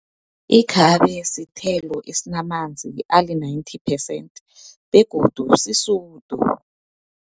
Ikhabe sithelo esinamanzi ali-ninety percent, begodu sisudu.